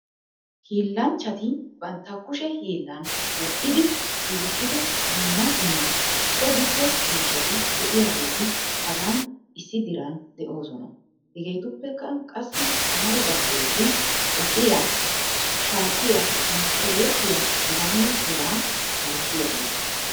Hiillanchchati bantta kushe hiillan medhdhidi giigissido dumma dumma so giddo miishshati de'iyaageeti hagan issi diran de'oosona. Hegetuppekka qassi amaridaageeti bassiyaa, shaatiyaa, mesqqeletiya heganne hegaa malatiyaageeta.